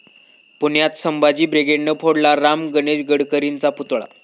पुण्यात संभाजी ब्रिगेडनं फोडला राम गणेश गडकरींचा पुतळा